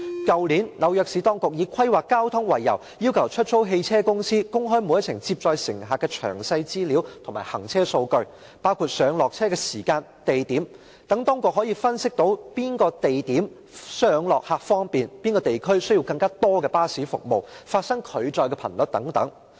去年，紐約市當局以規劃交通為由，要求出租汽車公司公開每一程接載乘客的詳細資料及行車數據，包括上落客的時間和地點，以便當局分析哪個地點上落客較為方便、哪個地區需要更多巴士服務、發生拒載的頻率等。